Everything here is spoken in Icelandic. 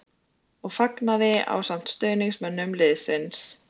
. og fagnaði ásamt stuðningsmönnum liðsins.